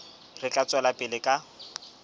re tla tswela pele ka